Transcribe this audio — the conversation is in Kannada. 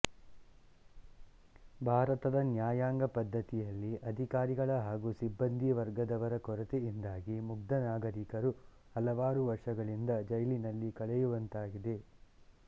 ಭಾರತದ ನ್ಯಾಯಾಂಗ ಪದ್ಧತಿಯಲ್ಲಿ ಅಧಿಕಾರಿಗಳ ಹಾಗು ಸಿಬ್ಬಂದಿ ವರ್ಗದವರ ಕೊರತೆಯಿಂದಾಗಿ ಮುಗ್ಧ ನಾಗರೀಕರು ಹಲವಾರು ವರ್ಷಗಳಿಂದ ಜೈಲಿನಲ್ಲಿ ಕಳೆಯುವಂತಾಗಿದೆ